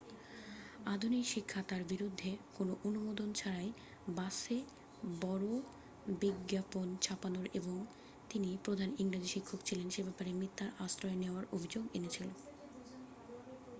আধুনিক শিক্ষা তাঁর বিরুদ্ধে কোন অনুমোদন ছাড়াই বাসে বড় বিজ্ঞাপন ছাপানোর এবং তিনি প্রধান ইংরেজী শিক্ষক ছিলেন সে ব্যাপারে মিথ্যার আশ্রয় নেওয়ার অভিযোগ এনেছিল